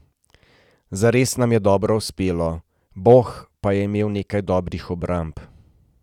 Zares nam je dobro uspelo, Boh pa je imel nekaj dobrih obramb.